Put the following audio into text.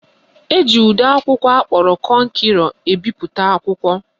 Eji ụdị akwụkwọ akpọrọ kọnkerọ ebipụta akwụkwọ.